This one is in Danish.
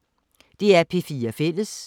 DR P4 Fælles